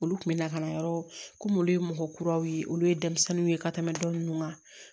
Olu kun bɛ na ka na yɔrɔ komi olu ye mɔgɔ kuraw ye olu ye denmisɛnninw ye ka tɛmɛ dɔ ninnu kan